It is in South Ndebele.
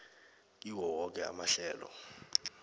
kiwo woke amahlelo